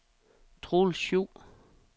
Troels Schou